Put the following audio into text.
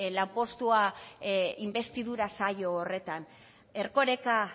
lanpostua inbestidura saio horretan erkoreka